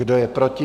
Kdo je proti?